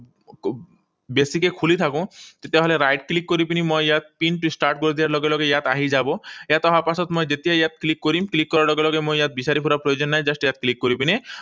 বেছিকৈ খুলি থাকো, তেতিয়াহলে right click কৰি পিনি মই ইয়াত পিনটো start কৰি দিয়াৰ লগে লগে ইয়াত আহি যাব। ইয়াত অহা পাছত মই যেতিয়া ইয়াত click কৰিম, click কৰাৰ লগে লগে মই ইয়াত বিচাৰি ফুৰা প্ৰয়োজন নাই। Just ইয়াত click কৰি পিনে